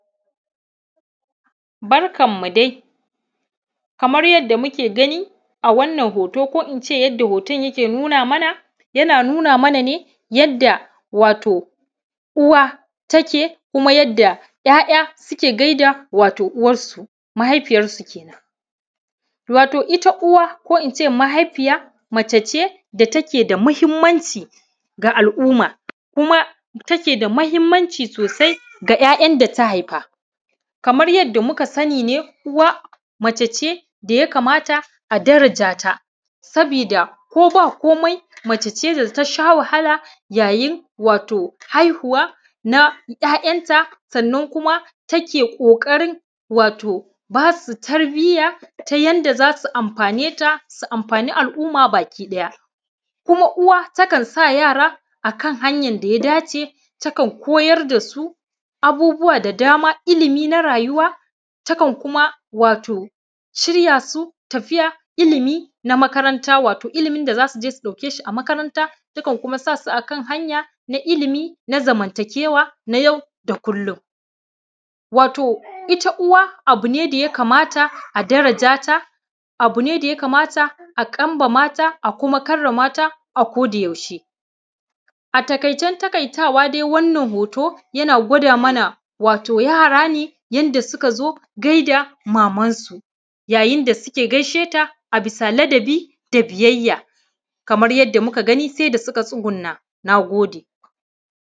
Barkanmu dai. Kamar yadda muke gani a wannan hoto, ko in ce yadda hoton yake nuna mana, yana nuna mana ne, yadda wato uwa take kuma yadda ‘ya’ya suke gai da wato uwarsu, mahaifiyarsu kenan. Wato ita uwa ko in ce mahaifiya mace ce da take da muhimmanci ga al’umma, kuma take da muhimmanci sosai ga ‘ya’yan da ta haifa. Kamar yadda muka sani ne, uwa mace ce da ya kamata a daraja ta, sabida ko ba komai, mace ce da ta sha wahala yayin wato haihuwa na ‘ya’yanta sannan kuma take ƙoƙarin wato ba su tarbiyya, ta yanda za su amfane ta, su amfani al’umma baki ɗaya. Kuma uwa takan sa yara a kan hanyan da ya dace. Takan koyar da su abubuwa da dama, ilimi na rayuwa, takan kuma wato shirya su tafiya ilimi na makaranta, wato ilimin da za su je su ɗauke shi a makaranta. Takan kuma sa su a kan hanya, na ilimi da na zamantakewa na yau da kullum. Wato ita uwa, abu ne da ya kamata a daraja ta, abu ne da ya kamata a kambama ta a kuma karama ta a ko da yaushe. A taƙaicen taƙaitawa dai wannan hoto yana gwada mana, wato yara ne yanda suka zo gai da mamansu, yayin da suke gaishe ta a bisa ladabi da biyayya, kamar yadda muka gani, sai da suka tsugunna.. Na gode